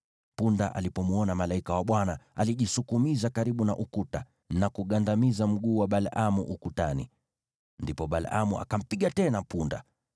Punda alipomwona malaika wa Bwana , alijisukumiza karibu na ukuta, na kugandamiza mguu wa Balaamu ukutani. Ndipo Balaamu akampiga tena punda.